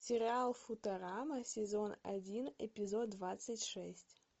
сериал футурама сезон один эпизод двадцать шесть